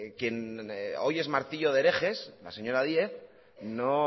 quien hoy es martillo de herejes la señora díez no